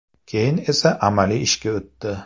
Keyin esa amaliy ishga o‘tdi.